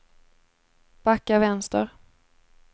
backa vänster